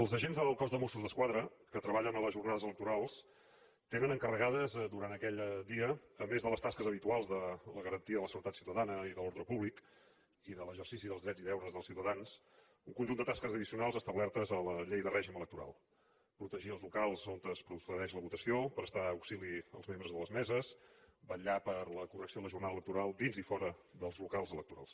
els agents del cos de mossos d’esquadra que treballen en les jornades electorals tenen encarregades durant aquell dia a més de les tasques habituals de la garantia de la seguretat ciutadana i de l’ordre públic i de l’exercici dels drets i deures dels ciutadans un conjunt de tasques addicionals establertes a la llei de règim electoral protegir els locals on es procedeix a la votació prestar auxili als membres de les meses vetllar per la correcció de la jornada electoral dins i fora dels locals electorals